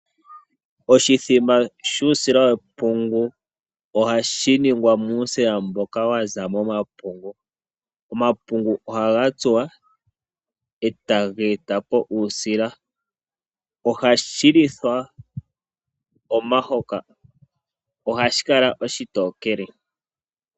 Oshithima shuusila wepungu ohashi ningwa muusila mboka wa za momapungu. Omapungu ohaga tsuwa e taga eta po uusila. Ohashi lithwa omahoka. Ohashi kala oshitokele.